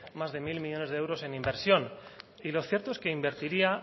más de mil millónes de euros en inversión y lo cierto es que invertiría